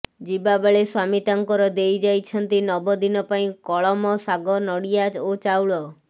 ଯିବାବେଳେ ସ୍ବାମୀ ତାଙ୍କର ଦେଇଯାଇଛନ୍ତି ନବ ଦିନ ପାଇଁ କଳମ ଶାଗ ନଡିଆ ଓ ଚାଉଳ